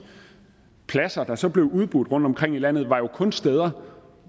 pladser der så blev udbudt rundtomkring i landet var jo kun de steder